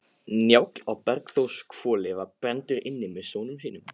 Njáll á Bergþórshvoli var inni brenndur með sonum sínum.